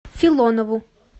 филонову